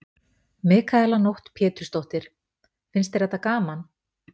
Mikaela Nótt Pétursdóttir: Finnst þér þetta gaman?